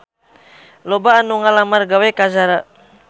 Loba anu ngalamar gawe ka Zara